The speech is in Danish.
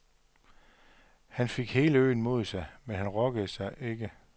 Han fik hele øen mod sig, men han rokkede sig ikke.